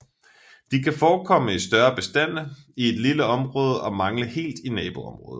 De kan forekomme i større bestande i et lille område og mangle helt i naboområder